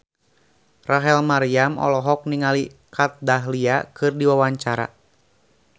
Rachel Maryam olohok ningali Kat Dahlia keur diwawancara